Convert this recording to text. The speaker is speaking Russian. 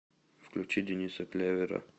включи дениса клявера